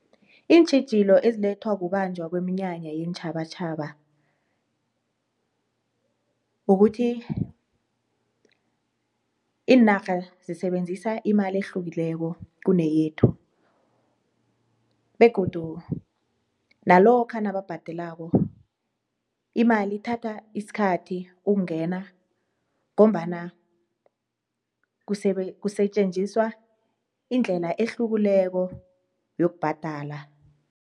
Iintjhijilo ezilethwa kubanjwa kweminyanya yeentjhabatjhaba kukuthi iinarha zisebenzisa imali ehlukileko kuneyethu begodu nalokhu nababhadelako, imali ithatha isikhathi ukungena ngombana kusetjenziswa indlela ehlukileko yokubhadala.